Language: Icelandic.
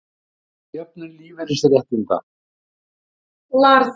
Ræða jöfnun lífeyrisréttinda